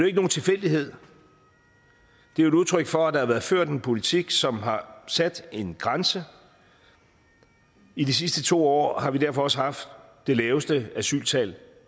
ikke nogen tilfældighed det er et udtryk for at der har været ført en politik som har sat en grænse i de sidste to år har vi derfor også haft det laveste asyltal